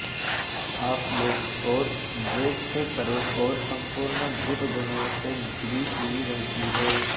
आप लोक और द्वैत से परे और सम्पूर्ण भूतगणों से घिरी हुई रहती हैं